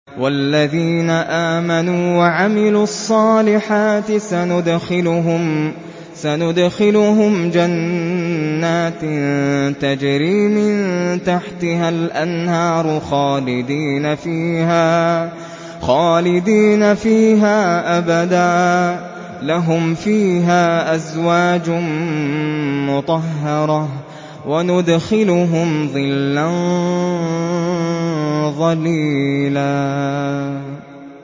وَالَّذِينَ آمَنُوا وَعَمِلُوا الصَّالِحَاتِ سَنُدْخِلُهُمْ جَنَّاتٍ تَجْرِي مِن تَحْتِهَا الْأَنْهَارُ خَالِدِينَ فِيهَا أَبَدًا ۖ لَّهُمْ فِيهَا أَزْوَاجٌ مُّطَهَّرَةٌ ۖ وَنُدْخِلُهُمْ ظِلًّا ظَلِيلًا